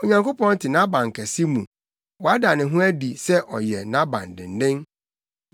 Onyankopɔn te nʼabankɛse mu wada ne ho adi sɛ ɔyɛ nʼabandennen.